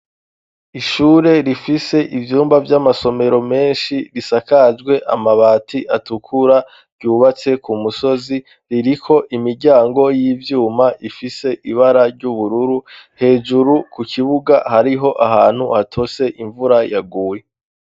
Ishure rifise ivyumba vy'amasomero menshi risakajwe amabati atukura ryubatse ku musozi ririko imiryango y'ivyuma ifise ibara ry'ubururu hejuru ku kibuga hariho ahantu hatose imvura yaguye.